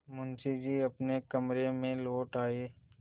मुंशी जी अपने कमरे में लौट आये